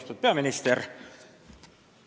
Austatud peaminister!